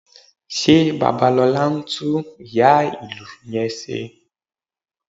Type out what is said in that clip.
Ṣé Babalọlá ń tún ìyá-ìlù yẹn ṣe?